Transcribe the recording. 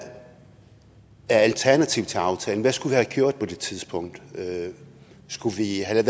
alternativet til aftalen hvad skulle vi have gjort på det tidspunkt skulle vi have